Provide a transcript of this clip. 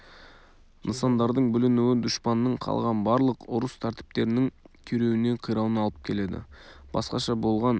нысандардың бүлінуі дұшпанның қалған барлық ұрыс тәртіптерінің күйреуіне қирауына алып келеді басқаша болған